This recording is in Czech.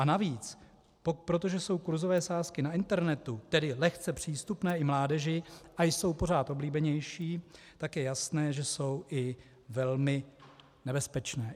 A navíc, protože jsou kurzové sázky na internetu, tedy lehce přístupné i mládeži, a jsou pořád oblíbenější, tak je jasné, že jsou i velmi nebezpečné.